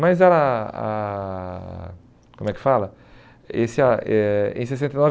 Mas ela... Ah, como é que fala? Esse ah eh em sessenta e nove